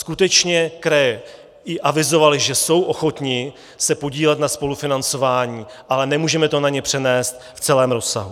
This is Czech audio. Skutečně kraje i avizovaly, že jsou ochotny se podílet na spolufinancování, ale nemůžeme to na ně přenést v celém rozsahu.